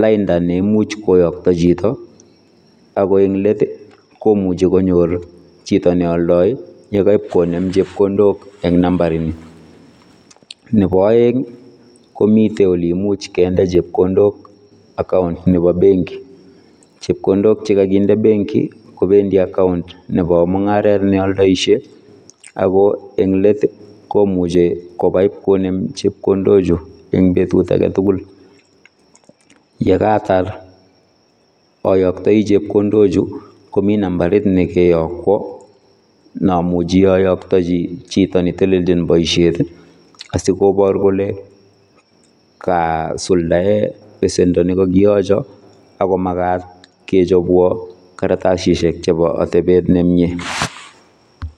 lainda neimuch koyakta chito ako eng let komuchi konyor chito neoldoi yekepkonem chepkondok eng nambarini. Nebo aeng komite ole imuch kende chepkondok [cs account nebo benki chepkondok chekakinde benki kobendi account nebo mungaret neoldoishe ako englet komuchi kobai ipkonem chepkondochu eng betut agetugul. Yekatar ayoktoi chepkondochu komi nambarit nekeyokwo neamuchi ayoktochi chito neteleljin boisiet asikobor kole kasuldae besendo nekakiyocho agomagat kechopwo karatasisiek chebo atebet nemie.